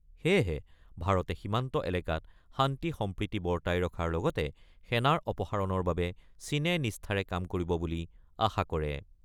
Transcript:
সেয়েহে ভাৰতে সীমান্ত এলেকাত শান্তি-সম্প্ৰীতি বৰ্তাই ৰখাৰ লগতে সেনাৰ অপসাৰণৰ বাবে চীনে নিষ্ঠাৰে কাম কৰিব বুলি আশা কৰে।